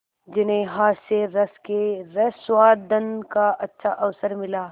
जिन्हें हास्यरस के रसास्वादन का अच्छा अवसर मिला